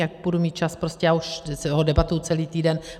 Jak budu mít čas prostě, já už ho debatuji celý týden.